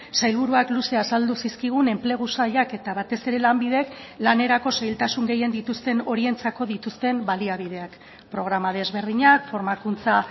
sailburuak luze azaldu zizkigun enplegu sailak eta batez ere lanbidek lanerako zailtasun gehien dituzten horientzako dituzten baliabideak programa desberdinak formakuntza